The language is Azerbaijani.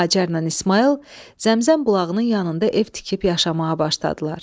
Hacərlə İsmayıl Zəmzəm bulağının yanında ev tikib yaşamağa başladılar.